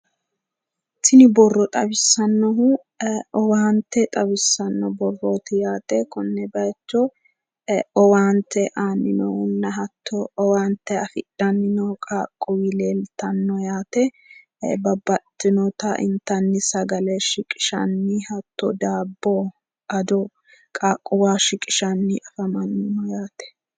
Tini borro xawissannohu owaante xawissanno borrooti yaate. Konne bayicho owaante aanni noohunna hatto owaante afidhanni noo qaaqquulli leeltanno yaate. Babbaxxitinota intanni sagale shiqishanni hatto daabbo, ado qaaqquwaho shiqishanni afamanno yaate.